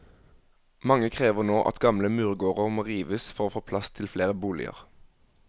Mange krever nå at gamle murgårder må rives for å få plass til flere boliger.